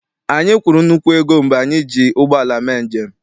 Anyị kwụrụ nnukwu ego mgbe anyị ji ụgbọala mee njem.